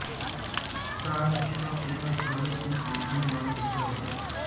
ਕਾਰ ਇੱਕ ਕੰਪਨੀ ਨਾਲ ਸਬੰਧਿਤ ਸੀ ਜਿਸਦੀ ਮਾਲਕ ਇੱਕ ਔਰਤ ਹੈ